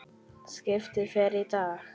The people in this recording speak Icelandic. Skipið fer í dag.